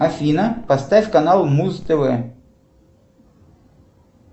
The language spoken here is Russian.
афина поставь канал муз тв